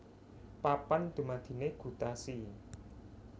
Papan dumadiné gutasi